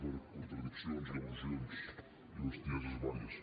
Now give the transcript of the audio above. per contradiccions i al·lusions i bestieses diverses